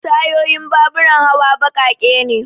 tayun baburan hawa baƙaƙe ne